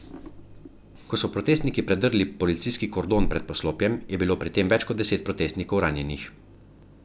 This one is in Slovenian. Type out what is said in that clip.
Ko so protestniki predrli policijski kordon pred poslopjem, je bilo pri tem več kot deset protestnikov ranjenih.